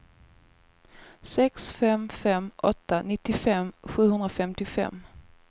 sex fem fem åtta nittiofem sjuhundrafemtiofem